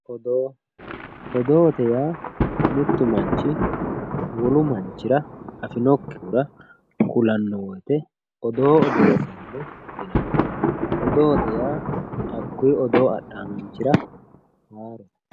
Oddo oddoye ya mittu manchi wolu manchira afinokihura julano woyite oddo odesano yinanni oddote yaa akuyi oddo adhawu manchira harote